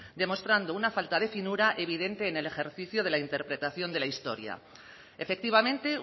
demostrando una falta de finura evidente en el ejercicio de la interpretación de la historia efectivamente